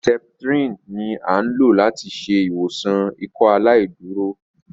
Sẹ̀ptrìnì ni a n lo lati ṣe iwọsan Ìkọaláìdúró